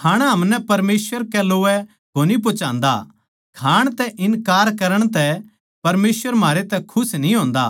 खाणा हमनै परमेसवर कै लोवै कोनी पोहोचान्दा खाण तै इन्कार करण तै परमेसवर म्हारे तै खुश न्ही होन्दा